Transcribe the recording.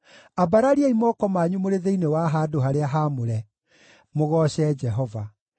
Ambarariai moko manyu mũrĩ thĩinĩ wa handũ-harĩa-haamũre mũgooce Jehova.